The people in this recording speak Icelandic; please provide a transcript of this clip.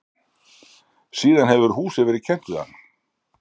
síðan hefur húsið verið kennt við hann